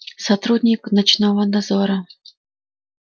сотрудник ночного дозора